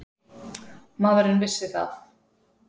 Maðurinn vissi það.